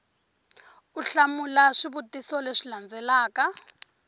u hlamula swivutiso leswi landzelaka